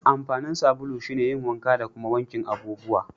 Amfanin sabulu shine yin wanka da kuma wankin abubuwa.